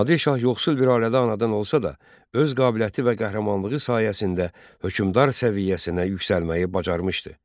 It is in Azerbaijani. Nadir şah yoxsul bir ailədə anadan olsa da, öz qabiliyyəti və qəhrəmanlığı sayəsində hökmdar səviyyəsinə yüksəlməyi bacarmışdı.